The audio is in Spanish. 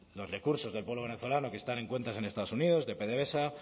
los recursos del pueblo venezolano que están en cuentas en estados unidos de pdvsa